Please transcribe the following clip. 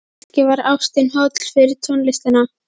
Kannski var ástin holl fyrir tónlistina.